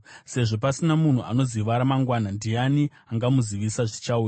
Sezvo pasina munhu anoziva ramangwana, ndiani angamuzivisa zvichauya?